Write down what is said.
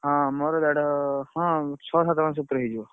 ହଁ ମୋର ଦେଢ ହଁ ଛଅ ସାତ ମାସ ଭିତରେ ହେଇଯିବ।